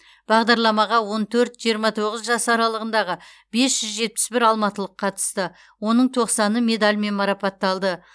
бағдарламаға он төрт жиырма тоғыз жас аралығындағы бес жүз жетпіс бір алматылық қатысты оның тоқсаны медальмен марапатталды